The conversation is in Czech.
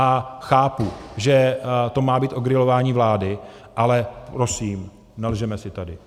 A chápu, že to má být o grilování vlády, ale, prosím, nelžeme si tady.